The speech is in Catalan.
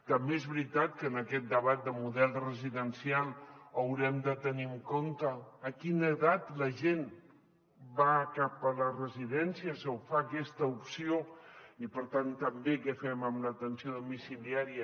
també és veritat que en aquest debat de model residencial haurem de tenir en compte a quina edat la gent va cap a les residències o fa aquesta opció i per tant també què fem amb l’atenció domiciliària